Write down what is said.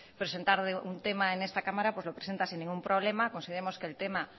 presentar un tema en esta cámara pues lo presenta sin ningún problema consideramos que el tema